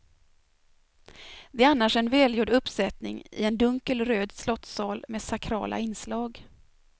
Det är annars en välgjord uppsättning i en dunkelt röd slottssal med sakrala inslag.